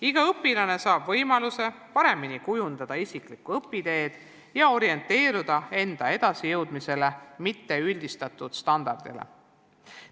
Iga õpilane saab võimaluse paremini kujundada isiklikku õpiteed ja orienteeruda enda edasijõudmisele, mitte üldistatud standardile.